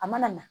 A mana na